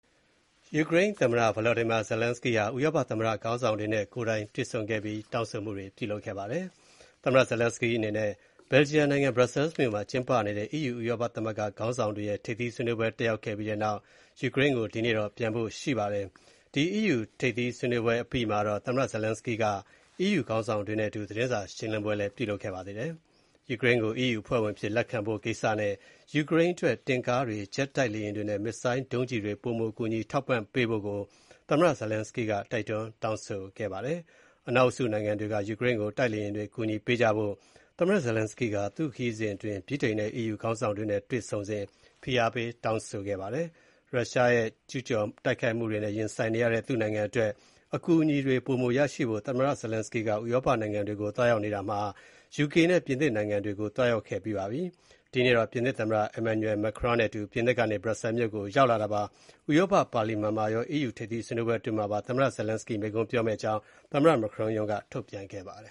ယူကရိန်းသမ္မတ ဗလော်ဒီမာဇလန်းစကီး (Volodymyr Zelensky) ဟာ Belgium နိုင်ငံ၊ Brussels မြို့မှာ ကျင်းပနေတဲ့ အီးယူ ဥရောပသမဂ္ဂ ခေါင်းဆောင်တွေရဲ့ ထိပ်သီးဆွေးနွေးပွဲ တက်ရောက်ခဲ့ပြီးတဲ့နောက် ယူကရိန်းနိုင်ငံကို ဒီကနေ့ ပြန်တော့မှာ ဖြစ်ပါတယ်။ အီးယူ ထိပ်သီးစည်းဝေးပွဲ အပြီးမှာတော့ သမ္မတဇလန်းစကီးဟာ အီးယူခေါင်းဆောင်တွေနဲ့အတူ သတင်းစာရှင်းလင်းပွဲ ပြုလုပ်ခဲ့ပါတယ်။ ယူကရိန်းကို အီးယူ အဖွဲ့ဝင်အဖြစ် လက်ခံဖို့ကိစ္စနဲ့ ယူကရိန်းအတွက် တင့်ကားတွေ၊ ဂျက် တိုက်လေယာဉ်တွေနဲ့ မစ်ဇိုင်းဒုံးကျည်တွေ ပိုမို ကူညီထောက်ပံ့ပေးဖို့ သမ္မတဇလန်းစကီးက တိုက်တွန်း တောင်းဆိုနေတာပါ။ အနောက်အုပ်စုနိုင်ငံတွေက ယူကရိန်းကို တိုက်လေယာဉ်တွေ ကူညီပေးကြဖို့ သမ္မတဇလန်းစကီးက သူ့ခရီးစဉ်အတွင်း ဗြိတိန်နဲ့ အီးယူခေါင်းဆောင်တွေနဲ့ တွေ့ဆုံစဉ် ဖိအားပေး တောင်းဆိုခဲ့ပါတယ်။ ရုရှားရဲ့ ကျူးကျော်တိုက်ခိုက်မှုတွေနဲ့ ရင်ဆိုင်နေရတဲ့ သူ့နိုင်ငံအတွက် အကူအညီတွေ ပိုမို ရရှိဖို့ သမ္မတဇလန်းစကီးက ဥရောပနိုင်ငံတွေကို သွားရောက်နေတာမှာ ယူကေနဲ့ ပြင်သစ်နိုင်ငံတွေကို သွားရောက်ခဲ့ပြီးပါပြီ။ ဒီကနေ့ ပြင်သစ် သမ္မတ Emmanuel Macron နဲ့အတူ ပြင်သစ်ကနေ Brussels မြို့ကို ရောက်လာတာပါ။ ဥရောပ ပါလီမန်မှာရော၊ အီးယူ ထိပ်သီး ဆွေးနွေးပွဲ အတွင်းမှာပါ သမ္မတ Zelensky မိန့်ခွန်းပြောမယ့်အကြောင်း သမ္မတ Macron ရုံးက ထုတ်ပြန်ပါတယ